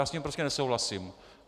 Já s tím prostě nesouhlasím.